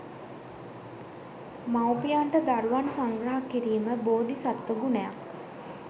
මවුපියනට දරුවන් සංග්‍රහ කිරීම බෝධි සත්ත්ව ගුණයක්.